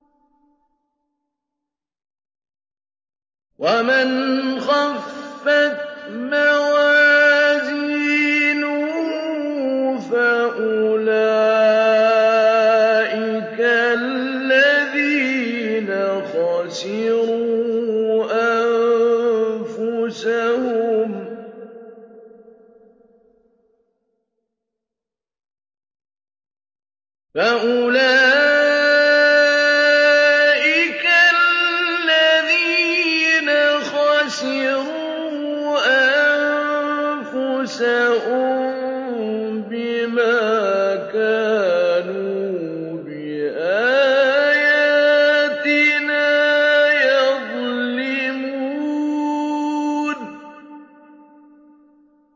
وَمَنْ خَفَّتْ مَوَازِينُهُ فَأُولَٰئِكَ الَّذِينَ خَسِرُوا أَنفُسَهُم بِمَا كَانُوا بِآيَاتِنَا يَظْلِمُونَ